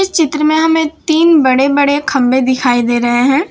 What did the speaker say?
चित्र में हमें तीन बड़े बड़े खंबे दिखाई दे रहे हैं।